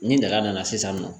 Ni daga nana sisan nɔ